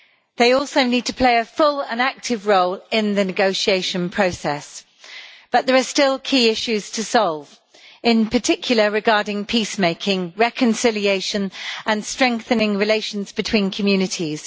They also need to play a full and active role in the negotiation process. But there are still key issues to resolve in particular regarding peace making, reconciliation and strengthening relations between communities.